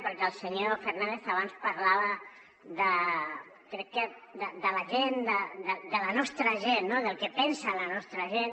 perquè el senyor fernàndez abans parlava crec que de la gent de la nostra gent no del que pensa la nostra gent